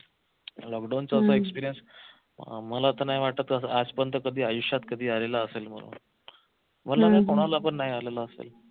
lockdown चा आपला experience मला तर नाही वाटत आजपर्यंत आयुष्यात कधी आलेला असेल म्हणून मला काय कोणाला पण नाही आलेला असेल